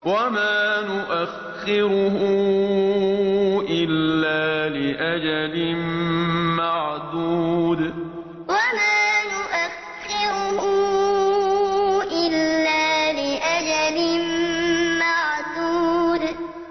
وَمَا نُؤَخِّرُهُ إِلَّا لِأَجَلٍ مَّعْدُودٍ وَمَا نُؤَخِّرُهُ إِلَّا لِأَجَلٍ مَّعْدُودٍ